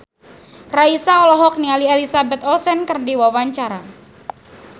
Raisa olohok ningali Elizabeth Olsen keur diwawancara